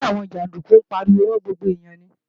Ṣé àwọn jàndúkú ń pariwo mọ́ gbogbo èèyàn ni?